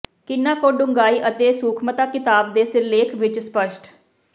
ਕਿੰਨਾ ਕੁ ਡੂੰਘਾਈ ਅਤੇ ਸੂਖਮਤਾ ਕਿਤਾਬ ਦੇ ਸਿਰਲੇਖ ਵਿਚ ਸਪੱਸ਼ਟ